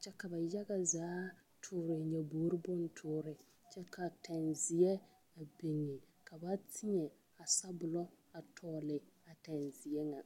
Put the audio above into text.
kyɛ ka ba yaga zaa pɔnne nyaboore boŋ tɔɔre kyɛ ka tɛŋzeɛ a biŋe ka ba teɛ a sabɔlɔ a tɔglea tɛgzeɛ nyɛ.